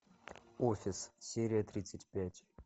офис серия тридцать пять